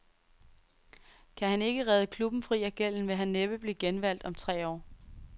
Kan han ikke redde klubben fri af gælden, vil han næppe blive genvalgt om tre år.